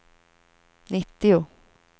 nittio